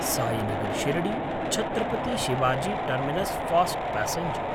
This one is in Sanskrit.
Sainagar शिर्डी–छत्रपति Shivaji terminus fast passenger